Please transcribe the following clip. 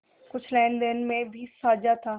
कुछ लेनदेन में भी साझा था